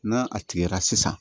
N'a a tigɛra sisan